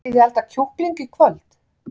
Viljiði elda kjúkling í kvöld?